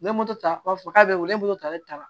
N ye moto ta u b'a fɔ k'a bɛ wele a bɛ ta